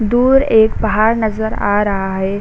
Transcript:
दूर एक पहाड़ नज़र आ रहा है।